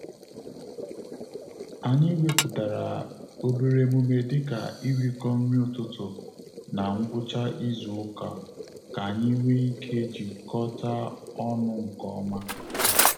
Anyị wepụtara obere emume dị ka irikọ nri ụtụtụ na ngwụcha izu uka, ka anyị nwee ike jikọta ọnụ nke ọma